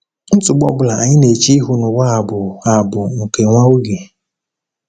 Nsogbu ọ bụla anyị na-eche ihu n’ụwa a bụ a bụ nke nwa oge.